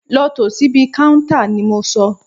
Lọ tò síbi káúntá ni mo sọ!